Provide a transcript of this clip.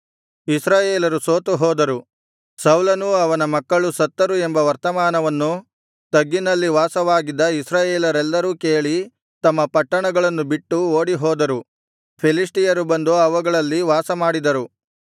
ಇಸ್ರಾಯೇಲರು ಸೋತು ಹೋದರು ಸೌಲನೂ ಅವನ ಮಕ್ಕಳು ಸತ್ತರು ಎಂಬ ವರ್ತಮಾನವನ್ನು ತಗ್ಗಿನಲ್ಲಿ ವಾಸವಾಗಿದ್ದ ಇಸ್ರಾಯೇಲರೆಲ್ಲರೂ ಕೇಳಿ ತಮ್ಮ ಪಟ್ಟಣಗಳನ್ನು ಬಿಟ್ಟು ಓಡಿಹೋದರು ಫಿಲಿಷ್ಟಿಯರು ಬಂದು ಅವುಗಳಲ್ಲಿ ವಾಸಮಾಡಿದರು